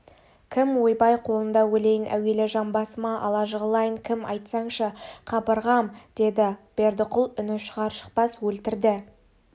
кім ойбай қолында өлейін әуелі жамбасыма ала жығылайын кім айтсаңшы қа-быр-ғам деді бердіқұл үні шығар-шықпас өлтірді